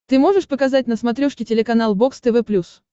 ты можешь показать на смотрешке телеканал бокс тв плюс